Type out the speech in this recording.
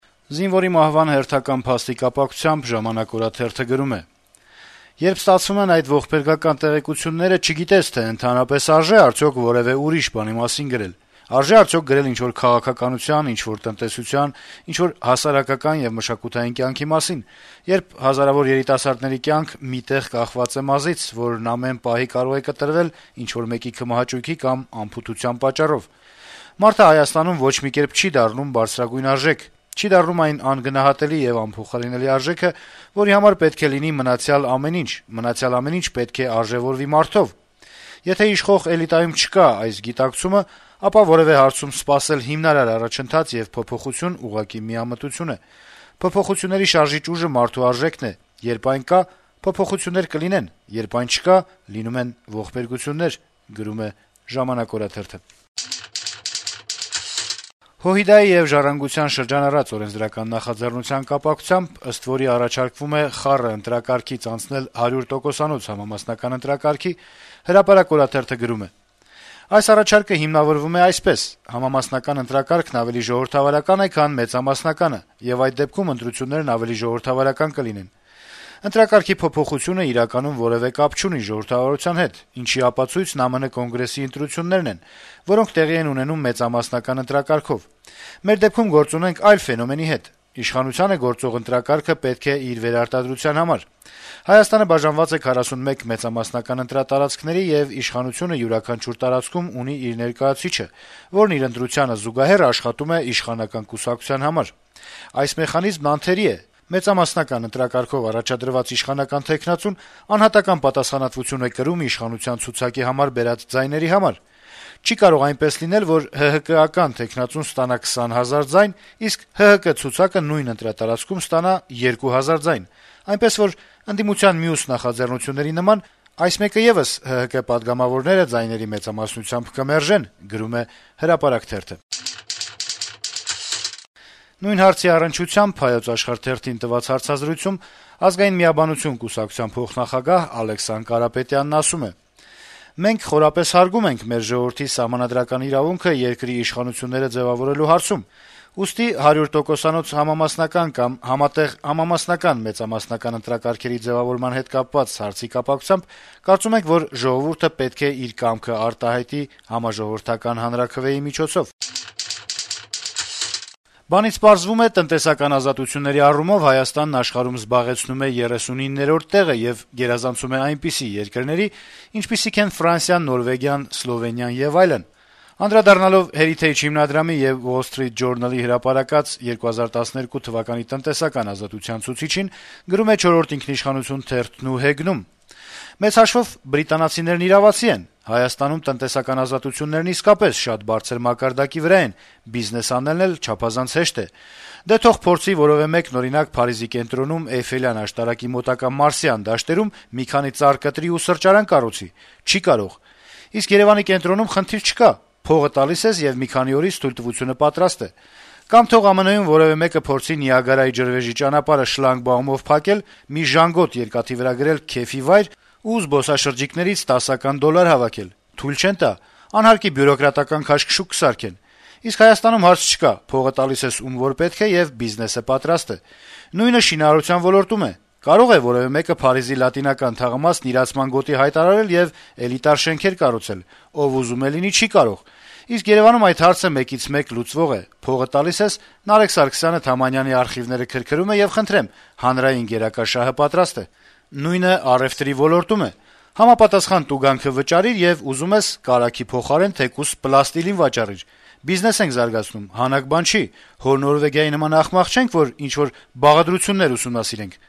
Զինվորի մահվան հերթական փաստի կապակցությամբ «Ժամանակ» օրաթերթը գրում է. - «Երբ ստացվում են այդ ողբերգական տեղեկությունները, չգիտես, թե ընդհանրապես արժե՞ արդյոք որեւէ ուրիշ բանի մասին գրել, արժե՞ արդյոք գրել ինչ-որ քաղաքականության, ինչ-որ տնտեսության, ինչ-որ հասարակական եւ մշակութային կյանքի մասին, երբ հազարավոր երիտասարդների կյանք մի տեղ կախված է մազից, որն ամեն պահի կարող է կտրվել ինչ-որ մեկի քմահաճույքի կամ անփութության պատճառով: Մարդը Հայաստանում ոչ մի կերպ չի դառնում բարձրագույն արժեք, չի դառնում այն անգնահատելի եւ անփոխարինելի արժեքը, որի համար պետք է լինի մնացյալ ամեն ինչ, մնացյալ ամեն ինչ պետք է արժեւորվի մարդով: Եթե իշխող «էլիտայում» չկա այս գիտակցումը, ապա որեւէ հարցում սպասել հիմնարար առաջընթաց եւ փոփոխություն` ուղղակի միամտություն է: Փոփոխությունների շարժիչ ուժը մարդու արժեքն է, երբ այն կա` փոփոխություններ կլինեն, երբ այն չկա՝ լինում են ողբերգություններ»: ՀՅԴ եւ «Ժառանգության» շրջանառած օրենսդրական նախաձեռնության կապակցությամբ, ըստ որի առաջարկվում է խառը ընտրակարգից անցնել հարյուր տոկոսանոց ընտրական համակարգի, «Հրապարակ» օրաթերթը գրում է. - «Այս առաջարկը հիմնավորվում է այսպես. համամասնական ընտրակարգն ավելի ժողովրդավարական է, քան մեծամասնականը, եւ այդ դեպքում ընտրություններն ավելի ժողովրդավարական կլինեն: Ընտրակարգի փոփոխությունն իրականում որեւէ կապ չունի ժողովրդավարության հետ, ինչի ապացույցն ԱՄՆ Կոնգրեսի ընտրություններն են, որոնք տեղի են ունենում մեծամասնական ընտրակարգով: Մեր դեպքում գործ ունենք այլ ֆենոմենի հետ: Իշխանությանը գործող ընտրակարգը պետք է իր վերարտադրության համար: Հայաստանը բաժանված է 41 մեծամասնական ընտրատարածքների, եւ իշխանությունը յուրաքանչյուր տարածքում ունի իր ներկայացուցիչը, որն իր ընտրությանը զուգահեռ աշխատում է իշխանական կուսակցության համար: Այս մեխանիզմն անթերի է. մեծամասնական ընտրակարգով առաջադրված իշխանական թեկնածուն անհատական պատասխանատվություն է կրում իշխանության ցուցակի համար բերած ձայների համար: Չի կարող այնպես լինել, որ ՀՀԿ-ական թեկնածուն ստանա 20 հազար ձայն, իսկ ՀՀԿ ցուցակը նույն ընտրատարածքում ստանա 2 հազար ձայն: Այնպես որ, ընդդիմության մյուս նախաձեռնությունների նման, այս մեկը եւս ՀՀԿ պատգամավորները ձայների մեծամասնությամբ կմերժեն»: Նույն հարցի առնչությամբ «Հայոց Աշխարհ» թերթին տված հարցազրույցում «Ազգային միաբանություն» կուսակցության փոխնախագահ Ալեքսան Կարապետյանն ասում է. - «Մենք խորապես հարգում ենք մեր ժողովրդի սահմանադրական իրավունքը երկրի իշխանությունները ձեւավորելու հարցում, ուստի 100 տոկոսանոց համամասնական կամ համատեղ համամասնական-մեծամասնական ընտրակարգերի ձեւավորման հետ կապված հարցի կապակցությամբ կարծում ենք, որ ժողովուրդը պետք է իր կամքը արտահայտի համաժողովրդական հանրաքվեի միջոցով»: «Բանից պարզվում է` տնտեսական ազատությունների առումով Հայաստանը աշխարհում զբաղեցնում է 39-րդ տեղը եւ գերազանցում է այնպիսի երկրների, ինչպիսիք են Ֆրանսիան, Նորվեգիան, Սլովենիան եւ այլն», - անդրադառնալով Heritage հիմնադրամի եւ Wall Street Journal-ի հրապարակած 2012 թվականի տնտեսական ազատության ցուցչին` գրում է «Չորրորդ ինքնիշխանություն» թերթն ու հեգնում. - «Մեծ հաշվով` բրիտանացիներն իրավացի են. Հայաստանում տնտեսական ազատություններն իսկապես շատ բարձր մակարդակի վրա են, բիզնես անելն էլ չափազանց հեշտ է: Դե թող փորձի որեւէ մեկը, օրինակ, Փարիզի կենտրոնում` Էյֆելյան աշտարակի մոտակա Մարսյան դաշտերում մի քանի ծառ կտրի ու սրճարան կառուցի: Չի' կարող: Իսկ Երեւանի կենտրոնում` խնդիր չկա. փողը տալիս ես, եւ մի քանի օրից թույլտվությունը պատրաստ է: Կամ թող ԱՄՆ-ում որեւէ մեկը փորձի Նիագարայի ջրվեժի ճանապարհը շլագբաումով փակել, մի ժանգոտ երկաթի վրա գրել «քեֆի վայր» ու զբոսաշրջիկներից 10-ական դոլար հավաքել: Թույլ չեն տա, «անհարկի բյուրոկրատական քաշքշուկ» կսարքեն: Իսկ Հայաստանում հարց չկա. փողը տալիս ես ում ով պետք է, եւ բիզնեսը պատրաստ է: Նույնը շինարարության ոլորտում է: Կարո՞ղ է որեւէ մեկը Փարիզի Լատինական թաղամասն «իրացման գոտի» հայտարարել եւ էլիտար շենքեր կառուցել: Ով ուզում է լինի` չի կարող: Իսկ Երեւանում այդ հարցը մեկից մեկ լուծվող է. փողը տալիս ես, Նարեկ Սարգսյանը Թամանյանի արխիվները քրքրում է, եւ խնդրեմ` հանրային գերակա շահը պատրաստ է: Նույնը առեւտրի ոլորտում է. համապատասխան տուգանքը վճարիր, եւ ուզում ես` կարագի փոխարեն թեկուզ պլաստիլին վաճառիր: Բիզնես ենք զարգացնում, հանաք բան չի: Հո Նորվեգիայի նման ախմախ չե՞նք, որ ինչ-որ բաղադրություններ ուսումնասիրենք»: